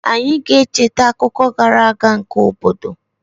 Anyị ga-echeta akụkọ gara aga nke obodo